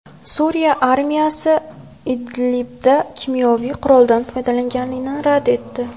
Suriya armiyasi Idlibda kimyoviy quroldan foydalanilganini rad etdi.